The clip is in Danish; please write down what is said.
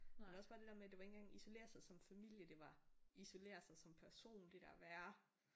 Men også bare det der med det var ikke engang isolere sig som familie det var isolere sig som person det der være